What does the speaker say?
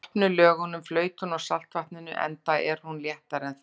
Í gropnu lögunum flaut hún á saltvatninu, enda er hún léttari en það.